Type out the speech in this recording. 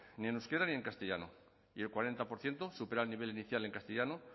ni en euskera ni en castellano y el cuarenta por ciento supera el nivel inicial en castellano